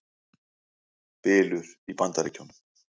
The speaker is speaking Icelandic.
Bylur í Bandaríkjunum